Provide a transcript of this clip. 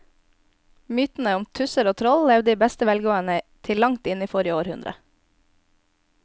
Mytene om tusser og troll levde i beste velgående til langt inn i forrige århundre.